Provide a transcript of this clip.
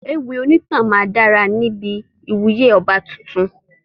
Ewì onítàn máa dára níbi ìwúyè ọba tuntun.